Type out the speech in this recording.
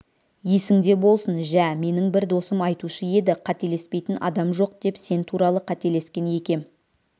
есіңде болсын жә менің бір досым айтушы еді қателеспейтін адам жоқ деп сен туралы қателескен екем